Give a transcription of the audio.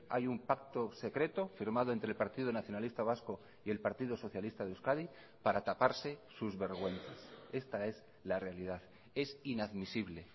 hay un pacto secreto firmado entre el partido nacionalista vasco y el partido socialista de euskadi para taparse sus vergüenzas esta es la realidad es inadmisible